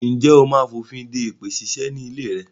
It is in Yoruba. Ǹjẹ́ ó máa fònfin de èpè ṣíṣe ni ilé rẹ?